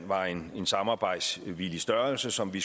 var en samarbejdsvillig størrelse som vi